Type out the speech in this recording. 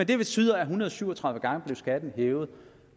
det betyder at en hundrede og syv og tredive gange blev skatten hævet